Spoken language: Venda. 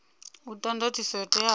u ta ndatiso yo teaho